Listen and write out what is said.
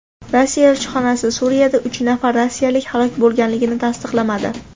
Rossiya elchixonasi Suriyada uch nafar rossiyalik halok bo‘lganligini tasdiqlamadi.